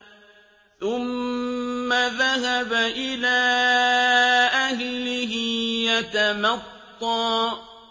ثُمَّ ذَهَبَ إِلَىٰ أَهْلِهِ يَتَمَطَّىٰ